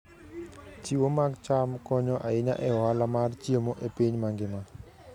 Chiwo mag cham konyo ahinya e ohala mar chiemo e piny mangima.